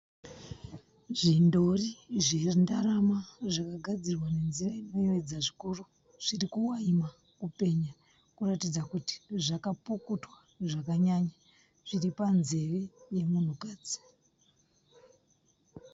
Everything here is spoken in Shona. Zvindori zvendarama zvakagadzirwa nenzira inoyevedza zvikuru zviri kuvaima, kupenya kuratidza kuti zvakapukutwa zvakanyanya zviri panzeve yemunhukadzi.